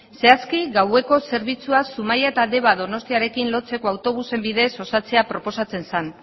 zehazki gaueko zerbitzua zumaia eta deba donostiarekin lotzeko autobusen bidez osatzea proposatzen zen